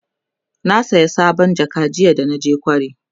na saya sabon jaka jiya da naje kwari